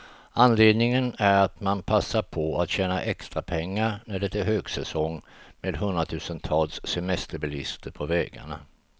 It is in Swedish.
Anledningen är att man passar på att tjäna extra pengar, när det är högsäsong med hundratusentals semesterbilister på vägarna.